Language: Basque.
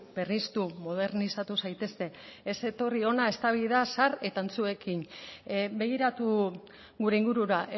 berriztu modernizatu zaitezte ez etorri hona eztabaida zahar eta antzuekin begiratu gure ingurura